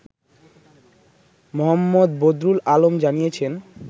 মো. বদরুল আলম জানিয়েছেন